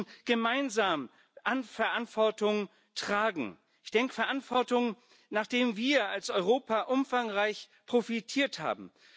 Wir müssen gemeinsam Verantwortung tragen Verantwortung, nachdem wir als Europa umfangreich profitiert haben.